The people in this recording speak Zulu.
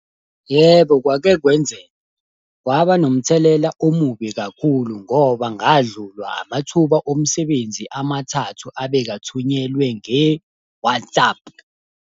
Yebo kwake kwenzeka. Kwaba nomthelela omubi kakhulu ngoba ngadlulwa amathuba omsebenzi amathathu abeka thunyelwe nge-WhatsApp.